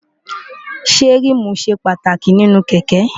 ṣé ríìmù ṣe pàtàkì nínú kẹ̀kẹ́?